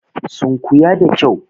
Sunkuya da kyau!